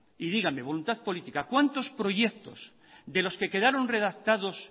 y dígame voluntad política cuántos proyecto de los que quedaron redactados